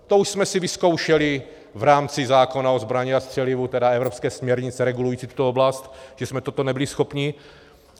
To už jsme si vyzkoušeli v rámci zákona o zbrani a střelivu, tedy evropské směrnice regulující tuto oblast, že jsme toto nebyli schopni.